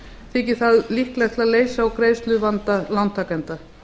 þykir það líklegt til að leysa úr greiðsluvanda lántakenda